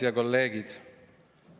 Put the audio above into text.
Head kolleegid!